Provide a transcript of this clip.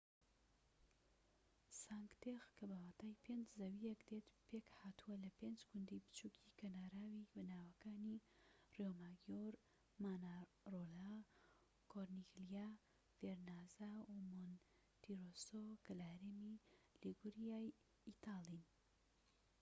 سانک تێغ کە بە واتای پێنج زەویەکە دێت پێك هاتووە لە پێنج گوندی بچووکی کەناراوی بەناوەکانی ریۆماگیۆر مانارۆلا کۆرنیگلیا ڤێرنازا و مۆنتیرۆسۆ کە لە هەرێمی لیگوریا ی ئیتاڵین